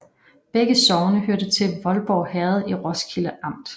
Begge sogne hørte til Voldborg Herred i Roskilde Amt